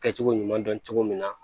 Kɛcogo ɲuman dɔn cogo min na